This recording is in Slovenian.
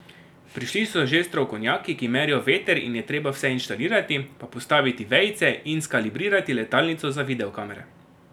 Prišli so že strokovnjaki, ki merijo veter in je treba vse inštalirati, pa postaviti vejice in skalibrirati letalnico za videokamere.